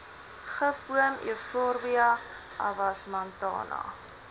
gifboom euphorbia avasmantana